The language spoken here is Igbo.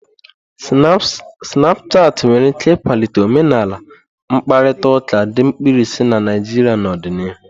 Snapushati nwere ike ịkwalite omenala mkparịta ụka dị mkpirisi na Naijria n'ọdịnihu.